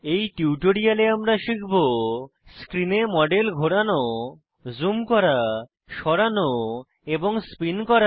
এই টিউটোরিয়ালে আমরা শিখব স্ক্রিনে মডেল ঘোরানো জুম করা সরানো এবং স্পিন করা